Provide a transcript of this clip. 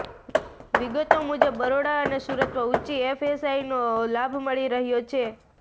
વિગતો મુજબ બરોડા અને સુરતમાં ઉંચી એફએસઆઈનો લાભ મળી રહ્યો છે